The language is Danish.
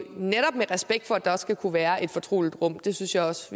netop med respekt for at der også skal kunne være et fortroligt rum det synes jeg også